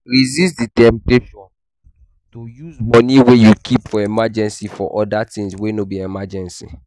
Resist di temptation to use money wey you keep for emergency for oda things wey no be emergency